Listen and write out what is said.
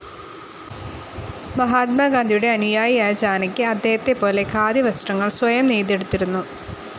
മഹാത്മാഗാന്ധിയുടെ അനുയായിയായ ജാനകി അദ്ദേഹത്തെപ്പോലെ ഖാദി വസ്ത്രങ്ങൾ സ്വയം നെയ്തെടുത്തിരുന്നു.